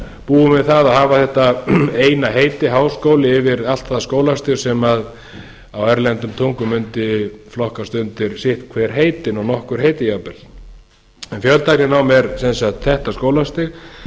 búum við það að hafa þetta eina heiti háskóli yfir allt það skólastig sem á erlendum tungum mundi flokkast undir sitt hvert heitið og nokkur heiti jafnvel fjöltækninám er sem sagt þetta skólastig